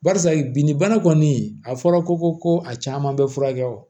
Barisa bin bana kɔni a fɔra ko ko a caman bɛ furakɛ wa